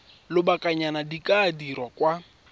lobakanyana di ka dirwa kwa